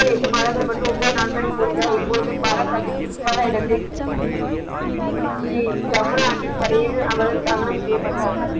எட்டு மாதங்கள் மற்றும் ஒன்பது நாட்களில் முடிந்தால் இப்பொழுது பாலா சாகிப் குரு துவாரா இடத்தில ஜமுனா ஆற்றின் கரையில் அவர் தானம் செய்யப்பட்டார்.